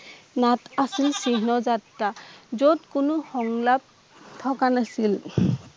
নাট আছিল চিহ্ন যাত্ৰা যত কোনো সংক্লাপ থকা নাছিল